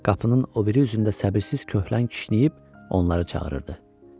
Qapının o biri üzərində səbirsiz köhlən kişniyib onları çağırırdı.